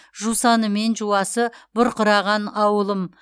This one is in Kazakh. жусаны мен жуасы бұрқыраған ауылым